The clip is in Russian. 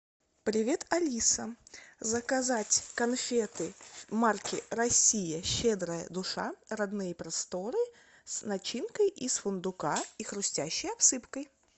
привет алиса заказать конфеты марки россия щедрая душа родные просторы с начинкой из фундука и хрустящей обсыпкой